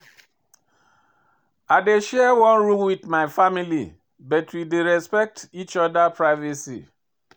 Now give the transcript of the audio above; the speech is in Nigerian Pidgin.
I dey share one room wit my family but we dey respect each oda privacy.